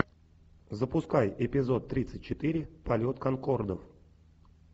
запускай эпизод тридцать четыре полет конкордов